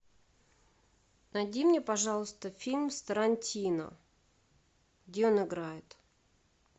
найди мне пожалуйста фильм с тарантино где он играет